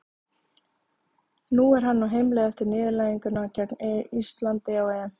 Nú er hann á heimleið eftir niðurlæginguna gegn Íslandi á EM.